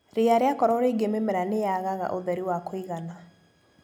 Ria rĩakorwo rĩingĩ mĩmera nĩyagaga ũtheri wa kũigana.